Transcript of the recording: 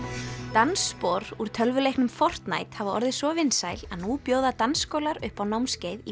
dansspor úr tölvuleiknum hafa orðið svo vinsæl að nú bjóða dansskólar upp á námskeið í